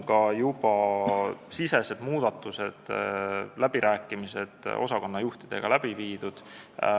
Asutusesisesed muudatused ja läbirääkimised osakonnajuhtidega on läbi viidud.